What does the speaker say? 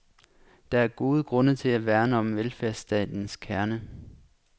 Der er gode grunde til at værne om velfærdsstatens kerne.